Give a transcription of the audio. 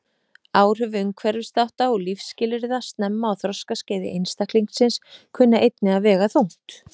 Áhrif umhverfisþátta og lífsskilyrða snemma á þroskaskeiði einstaklingsins kunna einnig að vega þungt.